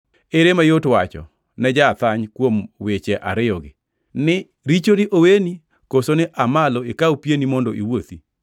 Ere mayot wacho ne ja-athany kuom weche ariyogi, ni ‘richoni oweni,’ koso ni, ‘Aa malo ikaw pieni mondo iwuothi’?